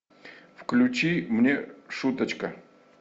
включи мне шуточка